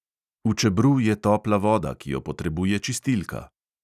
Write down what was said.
V čebru je topla voda, ki jo potrebuje čistilka.